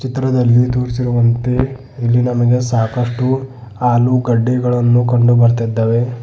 ಚಿತ್ರದಲ್ಲಿ ತೋರಿಸಿರುವಂತೆ ಇಲ್ಲಿ ನಮಗೆ ಸಾಕಷ್ಟು ಆಲೂಗಡ್ಡೆಗಳನ್ನು ಕಂಡು ಬರ್ತಿದ್ದಾವೆ.